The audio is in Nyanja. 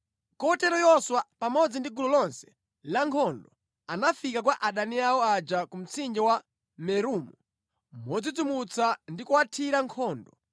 Kotero Yoswa pamodzi ndi gulu lonse la nkhondo anafika kwa adani awo aja ku mtsinje wa Meromu modzidzimutsa ndi kuwathira nkhondo.